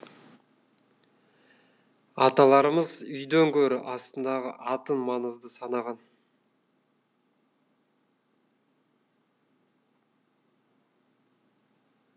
аталарымыз үйден гөрі астындағы атын маңызды санаған